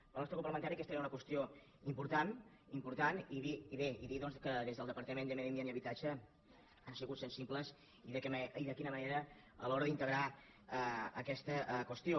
pel nostre grup parlamen·tari aquesta era una qüestió important i bé i dir que des del departament de medi ambient i habitatge han sigut sensibles i de quina manera a l’hora d’integrar aquesta qüestió